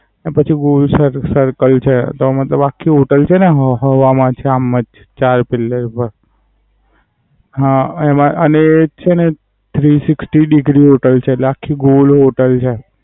પછી બોવ ઉસરન્ટ Different culture તો અમે તો આખી હોટેલ છેને હવ હવા માં છે આમ ચાર Pillar પાર. હા એમાં અને છેને હું Sixty degree હોટેલ છે આખી ગોળ હોટેલ છે.